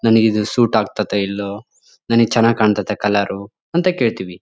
ನನಗೆ ಇದು ಸೂಟ್ ಆಗತೈತೋ ಇಲ್ವೋ ನನಗೆ ಚೆನ್ನಾಗ್ ಕಾಣತೈತ ಕಲರ್ ಎಲ್ಲ ಕೇಳ್ತಿವಿ.